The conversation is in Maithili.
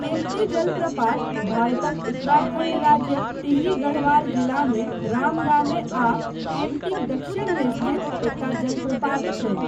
केम्पटी जलप्रपात भारतक उत्तराखण्ड राज्यक टिहरी गढ़वाल जिलामे राम गाममे आ केम्पटीक दक्षिणमे स्थित एकटा जलप्रपात छै।